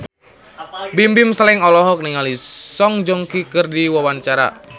Bimbim Slank olohok ningali Song Joong Ki keur diwawancara